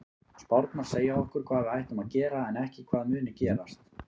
Spárnar segja okkur hvað við ættum að gera en ekki hvað muni gerast.